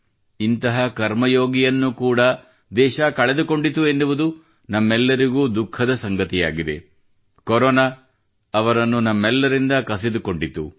ಇಂತಹ ಕರ್ಮಯೋಗಿಯನ್ನು ಕೂಡಾ ದೇಶ ಕಳೆದುಕೊಂಡಿತು ಎನ್ನುವುದು ನಮ್ಮೆಲ್ಲರಿಗೂ ದುಃಖದ ಸಂಗತಿಯಾಗಿದೆ ಕೊರೋನಾ ಅವರನ್ನು ನಮ್ಮೆಲ್ಲರಿಂದ ಕಸಿದುಕೊಂಡಿತು